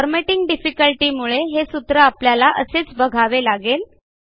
formatting difficulty मुळे हे सूत्र आपल्याला असेच बघावे लागेल